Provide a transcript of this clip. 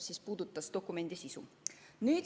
See puudutas dokumendi sisu.